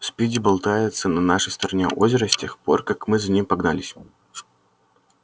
спиди болтается на нашей стороне озера с тех пор как мы за ним погнались